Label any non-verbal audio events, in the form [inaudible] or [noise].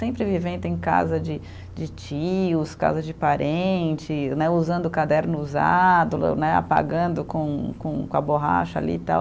Sempre vivendo em casa de de tios, casa de parentes né, usando o caderno usado, [unintelligible] apagando com com a borracha ali e tal.